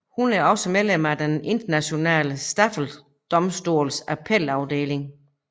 Hun er også medlem af Den Internationale Straffedomstols appelafdeling